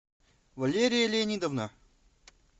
валерия леонидовна